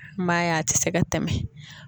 N b'a ye a ti se ka tɛmɛ